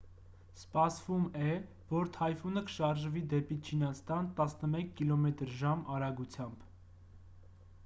սպասվում է որ թայֆունը կշարժվի դեպի չինաստան տասնմեկ կմ/ժ արագությամբ: